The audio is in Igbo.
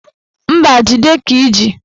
Mba, jide ka iji